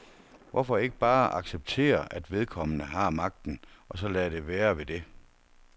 Hvorfor ikke bare acceptere, at vedkommende har magten, og så lade det være ved dét.